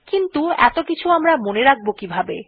কিন্তু এত কিছু আমরা মনে রাখব কিভাবে160